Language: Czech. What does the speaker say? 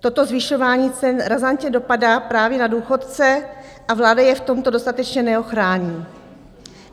Toto zvyšování cen razantně dopadá právě na důchodce a vláda je v tomto dostatečně neochrání.